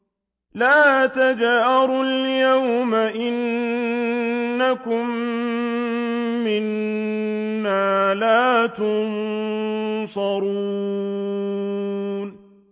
لَا تَجْأَرُوا الْيَوْمَ ۖ إِنَّكُم مِّنَّا لَا تُنصَرُونَ